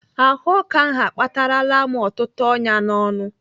Ahụọkụ ahụ akpatarala m ọtụtụ ọnyá n'ọnụ.